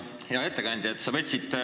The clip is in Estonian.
Hea ettekandja!